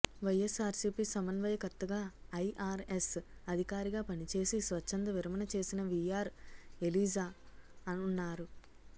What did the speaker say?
వైఎస్సార్సీపీ సమన్వయకర్తగా ఐఆర్ఎస్ అధికారిగా పనిచేసి స్వచ్ఛంద విరమణ చేసిన వీఆర్ ఎలీజా ఉన్నారు